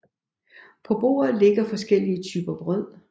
På bordet ligger forskellige typer brød